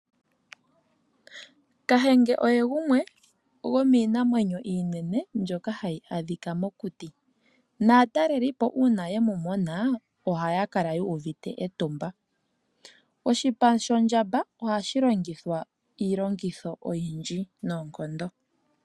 Kahenge oye gumwe gomiinamwenyo iinene mbyoka hayi adhika mokuti, naataleli po uuna ye mu mona ohaya kala yu uvite etumba. Oshipa shondjamba ohashi longithwa iilongitho oyindji noonkondo.